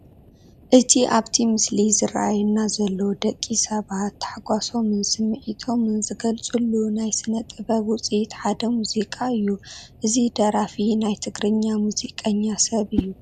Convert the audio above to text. እቲ ኣብቲ ምስሊ ዝራኣየና ዘሎ ደቂ ሰባት ታሕጓሶምን ስምዒቶምን ዝገልፅሉ ናይ ስነ-ጥበብ ውፅኢት ሓደ ሙዚቃ እዩ፡፡ እዚ ደራፊ ናይ ትግርኛ ሙዚቀኛ ሰብ እዩ፡፡